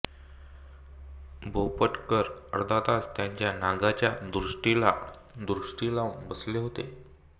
भोपटकर अर्धा तास त्या नागाच्या दृष्टीला दृष्टी लावून बसले होते